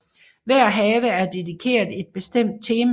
Hver have er dedikeret et bestemt tema